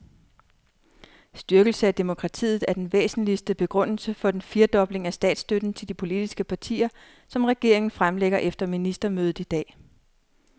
Styrkelse af demokratiet er den væsentligste begrundelse for den firedobling af statsstøtten til de politiske partier, som regeringen fremlægger efter ministermødet i dag.